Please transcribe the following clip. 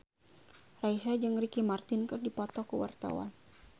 Raisa jeung Ricky Martin keur dipoto ku wartawan